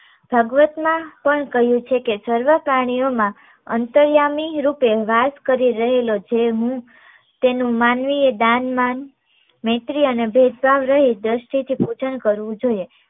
ભાગવતમા પણ કહ્યું છે કે, સર્વ પ્રાણીઓ મા અંતર્યામી રૂપે વાસ કરી રહેલો છે હું તેનું માનવીએ દાન, માન, મૈત્રી અને ભેદભાવ રહિત દ્રષ્ટિથી પૂજન કરવું જોઈએ